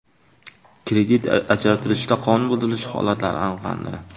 Kredit ajratilishida qonun buzilishi holatlari aniqlandi.